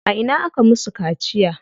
A ina aka musu kaciya?